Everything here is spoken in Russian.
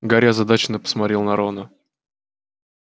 гарри озадаченно посмотрел на рона